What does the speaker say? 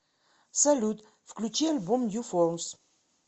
салют включи альбом нью формс